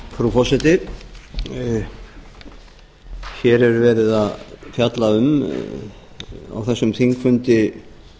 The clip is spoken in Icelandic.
frú forseti hér er verið að fjalla um á þessum þingfundi